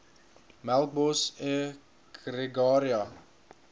melkbos e gregaria